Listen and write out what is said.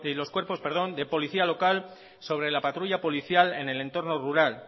los cuerpos de policía local sobre la patrulla policial en el entorno rural